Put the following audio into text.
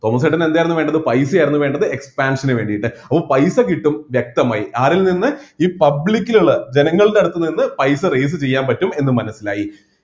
Thomas ചേട്ടന് എന്തായിരുന്നു വേണ്ടത് പൈസയായിരുന്നു വേണ്ടത് expansion ന് വേണ്ടിയിട്ട് അപ്പൊ പൈസ കിട്ടും വ്യക്തമായി ആരിൽ നിന്ന് ഈ public ലുള്ള ജനങ്ങളുടെ അടുത്ത് നിന്ന് പൈസ raise ചെയ്യാൻ പറ്റും എന്ന് മനസ്സിലായി